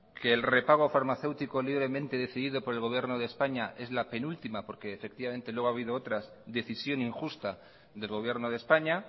que el repago farmacéutico libremente decidido por el gobierno de españa es la penúltima porque efectivamente luego ha habido otras decisión injusta del gobierno de españa